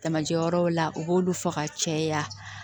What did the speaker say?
Tamajɛ wɛrɛ la u b'olu fɔ ka caya